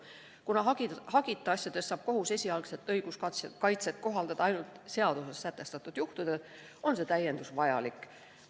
Kuna hagita asjades saab kohus esialgset õiguskaitset kohaldada ainult seaduses sätestatud juhtudel, on see täiendus vajalik.